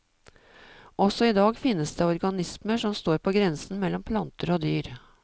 Også i dag finnes det organismer som står på grensen mellom planter og dyr.